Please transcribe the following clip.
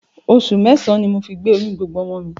Oṣù mẹ́sàn-án ni mo fi gbé oyún gbogbo ọmọ mi